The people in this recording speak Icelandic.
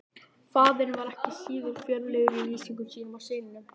Faðirinn var ekki síður fjörlegur í lýsingum sínum á syninum.